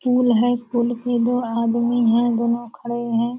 School है school के दो आदमी है दोनों खड़े है।